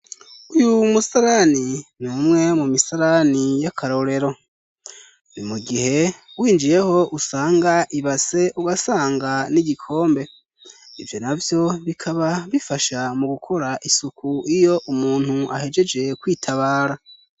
Uyu musarani, n'umwe mu misarani y'akarorero! Ni mu gihe winjiyeho usanga ibase, igasanga n'igikombe ivyo navyo bikaba bifasha mu gukora isuku, iyo umuntu ahejeje kwitabara.